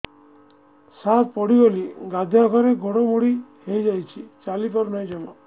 ସାର ପଡ଼ିଗଲି ଗାଧୁଆଘରେ ଗୋଡ ମୋଡି ହେଇଯାଇଛି ଚାଲିପାରୁ ନାହିଁ ଜମା